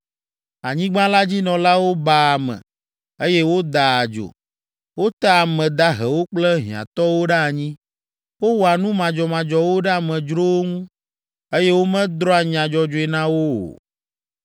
Anyigba la dzi nɔlawo baa ame, eye wodaa adzo; wotea ame dahewo kple hiãtɔwo ɖe anyi, wowɔa nu madzɔmadzɔwo ɖe amedzrowo ŋu, eye womedrɔ̃a nya dzɔdzɔe na wo o.